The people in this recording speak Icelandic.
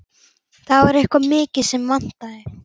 Það var eitthvað mikið sem vantaði.